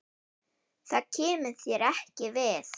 Það kemur þér ekki við.